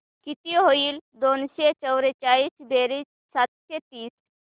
किती होईल दोनशे चौर्याऐंशी बेरीज सातशे तीस